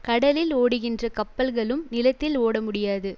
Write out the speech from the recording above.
கடலில் ஓடுகின்ற கப்பல்களும் நிலத்தில் ஓடமுடியாது